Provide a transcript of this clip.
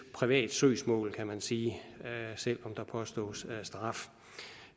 privat søgsmål kan man sige selv om der påstås straf